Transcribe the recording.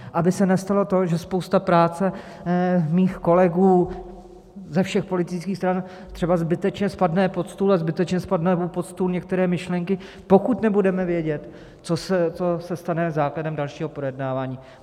Aby se nestalo to, že spousta práce mých kolegů ze všech politických stran třeba zbytečně spadne pod stůl a zbytečně spadnou pod stůl některé myšlenky, pokud nebudeme vědět, co se stane základem dalšího projednávání.